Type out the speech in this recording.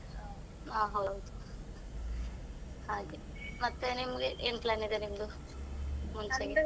ಹಾ ಹೌದು ಹಾಗೆ, ಮತ್ತೆ ನಿಮ್ಗೆ ಏನ್ plan ಇದೆ ನಿಮ್ದು ?